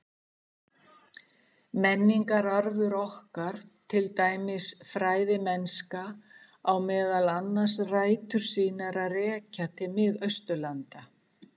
Menningararfur okkar, til dæmis fræðimennska, á meðal annars rætur sínar að rekja til Mið-Austurlanda.